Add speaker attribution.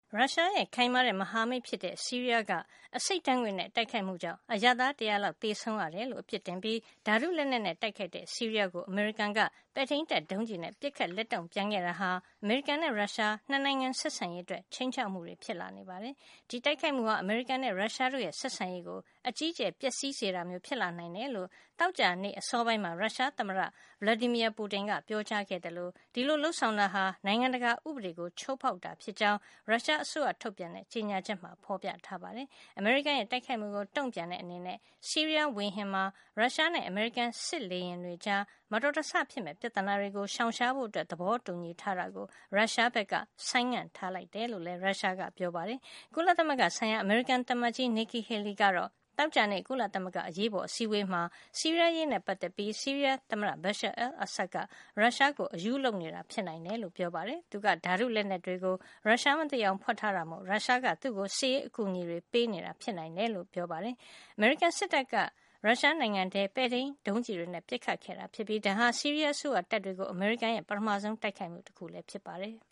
Speaker 1: ရုရှားရဲ့ ခိုင်မာတဲ့မဟာမိတ်ဖြစ်တဲ့ ဆီးရီးယား က အဆိပ်ဓါတ်ငွေ့နဲ့ တိုက်ခိုက်မှုကြောင့် အရပ်သား တရာလောက် သေဆုံးရတယ်လို့ အပြစ်တင်ပြီး ဓါတုလက်နက်နဲ့ တိုက်ခိုက်တဲ့ ဆီးရီးယားကို အမေရိကန်က ပဲ့ထိမ်းတပ် ဒုံးကျည်နဲ့ ပစ်ခတ်လက်တုန့်ပြန်ခဲ့တာဟာ အမေရိကန်နဲ့ ရုရှား ၂ နိုင်ငံဆက်ဆံရေးအတွက် ခြိမ်းခြောက်မှုဖြစ်လာနေပါတယ်။ ဒီတိုက်ခိုက်မှုဟာ အမေရိကန်နဲ့ ရုရှားတို့ရဲ့ ဆက်ဆံရေးကို အကြီးအကျယ် ပျက်စီးစေတာမျိုး ဖြစ်လာနိုင်တယ်လို့ သောကြာနေ့ အစောပိုင်းမှာ ရုရှားသမ္မတ Vladimir Putin က ပြောကြားခဲ့သလို ဒီလို လုပ်ဆောင်တာဟာ နိုင်ငံတကာ ဥပဒေကို ချိုးဖေါက်တာလို့ ဖြစ်ကြောင်းလည်း ရုရှားအစိုးရ ထုတ်ပြန်တဲ့ ကြေညာချက်မှာ ဖေါ်ပြထားပါတယ်။ အမေရိကန်ရဲ့ တိုက်ခိုက်မှုကို တုန့်ပြန်တဲ့ အနေနဲ့ ဆီးရီးယားဝေဟင်မှာ ရုရှားနဲ့ အမေရိကန် စစ်လေယာဉ်တွေကြား မတော်တဆ ဖြစ်မယ့် ပြဿနာတွေကို ရှောင်ရှားဖို့ သဘောတူညီထားတာကို ရုရှားက ဆိုင်းငံ့ထားလိုက်တယ်လို့လည်း ရုရှားက ပြောပါတယ်။ ကုလသမဂ္ဂ ဆိုင်ရာ အမေရိကန် သံအမတ်ကြီး Nikki Haley ကတော့ သောကြာနေ့ ကုလသမဂ္ဂ အရေးပေါ်အစည်းအဝေးမှာ ဆီးရီးယား အရေးနဲ့ ပတ်သက်ပြီး ဆီးရီးယား သမ္မတ Bashar al-Assad က ရုရှားကို အရူးလုပ်နေတာ ဖြစ်နိုင်တယ်လို့ ပြောပါတယ်။ သူက ဓါတုလက်နက် တွေကို ရုရှားမသိအောင် ဖွက်ထားတာမို့ ရုရှားက သူ့ကို စစ်ရေးအကူညီတွေ ပေးနေတာ ဖြစ်နိုင်တယ်လို့ ပြောခဲ့တာပါ။ အမေရိကန်စစ်တပ်ကရုရှားနိုင်ငံထဲကို ပဲ့ထိန်းဒုံးကျည်တွေနဲ့ ပစ်ခတ်ခဲ့တာ ဖြစ်ပြီး ဒါဟာ ဆီးရီးယား အစိုးရတပ်တွေကို အမေရိကန်ရဲ့ ပထမဆုံး တိုက်ခိုက်မှု တခု ဖြစ်ပါတယ်။